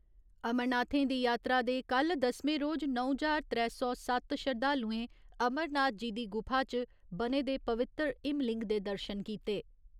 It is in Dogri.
अमरनाथें दी यात्रा दे कल्ल दसमें रोज नौ ज्हार त्रै सौ सत्त श्रद्धालुएं अमरनाथ जी दी गुफा च बने दे पवित्तर हिमलिंग दे दर्शन कीते।